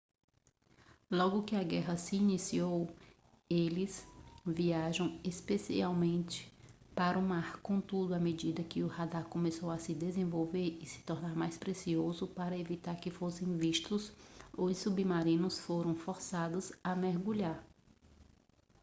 logo que a guerra se iniciou eles viajavam especialmente sobre o mar contudo à medida que o radar começou a se desenvolver e se tornar mais preciso para evitar que fossem vistos os submarinos foram forçados a mergulhar